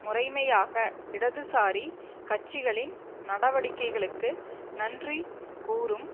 முறைமையாக இடதுசாரி கட்சிகளின் நடவடிக்கைகளுக்கு நன்றி கூறும்